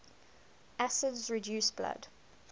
acids reduce blood